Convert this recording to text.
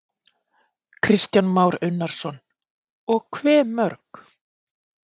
Kristján Már Unnarsson: Og hve mörg?